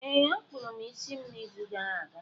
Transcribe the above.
Ee, a kpụrụ m isi m n’izu gara aga.